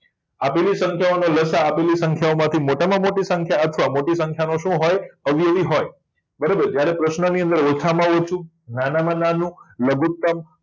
આપેલી સંખ્યાઓના લ. સા. અ આપેલી સંખ્યાઓ માંથી મોટામાં મોટી સંખ્યા અથવા મોટી મોટી સંખ્યા ઓછો હોય અવયવી હોય બરાબર છે જ્યારે પ્રશ્નાર્થ ની અંદર ઓછામાં ઓછું નાનામાં નાનું લઘુત્તમ